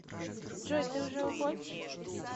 джой ты уже уходишь